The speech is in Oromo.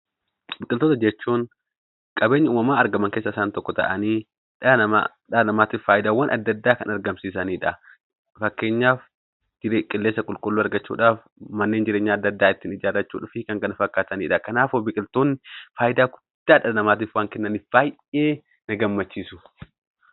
Biqiltoota jechuun qabeenya umamaan argaman ta'anii dhala namaatiif fayidaawwan addaa addaa kan argamsiisanidha. Fakkeenyaaf qilleensa qulqulluu argachuudhaaf , manneen jireenyaa addaa addaa ittiin ijaarachuu fi kanneen kana fakkaatanidha. Kanaaf biqiltuun fayidaa guddaa dhala namaatiif waan kennaniif baayyee na gammachiisu.